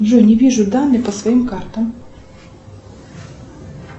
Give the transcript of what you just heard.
джой не вижу данные по своим картам